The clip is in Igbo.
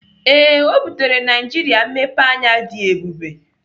Ee, ọ butere Naijiria mmepeanya dị ebube.